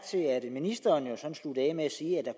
ministeren sluttede af med at sige at